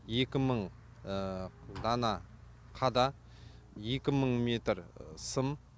екі мың дана қада екі мың метр сым